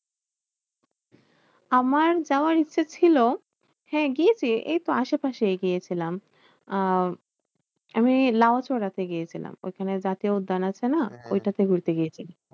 আমার যাওয়ার ইচ্ছা ছিল, হ্যাঁ গিয়েছি এইতো আশেপাশেই গিয়েছিলাম। আহ আমি লাউচড়াতে গিয়েছিলাম। ওখানে জাতীয় উদ্যান আছে না? ঐটাতে ঘুরতে গিয়েছি।